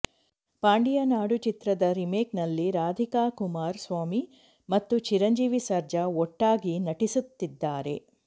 ಪಾಂಡಿಯ ನಾಡು ಚಿತ್ರದ ರೀಮೇಕ್ ನಲ್ಲಿ ರಾಧಿಕ ಕುಮಾರ ಸ್ವಾಮಿ ಮತ್ತು ಚಿರಂಜೀವಿ ಸರ್ಜಾ ಒಟ್ಟಾಗಿ ನಟಿಸುತ್ತಿದ್ದಾರೆ